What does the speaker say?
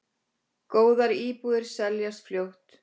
Góðar íbúðir seljast fljótt.